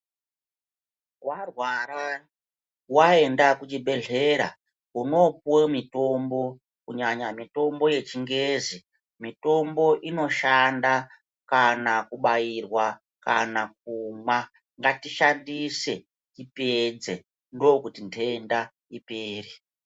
Warwara waenda kuchibhedhlera unopiwa mitombo kunyanya mitombo yechingezi mitombo inoshanda kana kubairwa kana Kona ngatiishandise tioedze ndokuti ndenda ipere.